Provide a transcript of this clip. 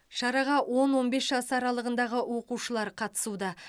шараға он он бес жас аралығындағы оқушылар қатысуда